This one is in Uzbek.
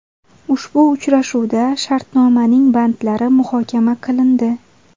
Ushbu uchrashuvda shartnomaning bandlari muhokama qilindi.